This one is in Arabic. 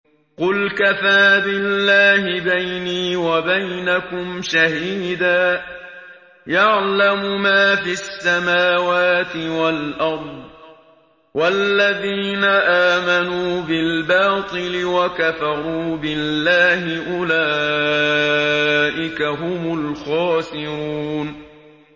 قُلْ كَفَىٰ بِاللَّهِ بَيْنِي وَبَيْنَكُمْ شَهِيدًا ۖ يَعْلَمُ مَا فِي السَّمَاوَاتِ وَالْأَرْضِ ۗ وَالَّذِينَ آمَنُوا بِالْبَاطِلِ وَكَفَرُوا بِاللَّهِ أُولَٰئِكَ هُمُ الْخَاسِرُونَ